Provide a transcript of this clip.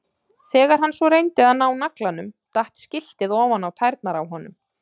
Þegar hann svo reyndi að ná naglanum datt skiltið ofan á tærnar á honum.